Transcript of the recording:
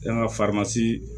An ka